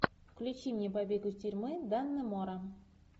включи мне побег из тюрьмы даннемора